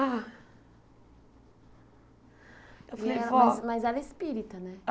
Ah... Eu falei, vó... Mas mas ela é espírita, né?